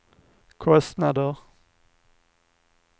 kostnader